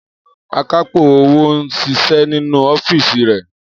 Akápò owó ń ṣiṣẹ́ nínú ọ́fíìsì rè.